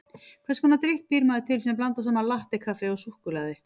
Hvers konar drykk býr maður til sem blandar saman latté-kaffi og súkkulaði?